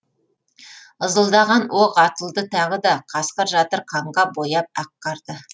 ызылдаған оқ атылды тағы да қасқыр жатыр қанға бояп ақ қарды